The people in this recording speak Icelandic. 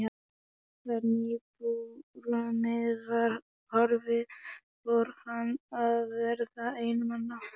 Þegar nýjabrumið var horfið fór hann að verða einmana.